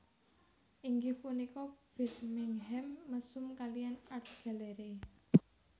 Inggih punika Birmingham Mesum kaliyan Art Gallery